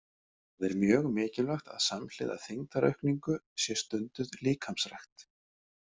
Það er mjög mikilvægt að samhliða þyngdaraukningu sé stunduð líkamsrækt.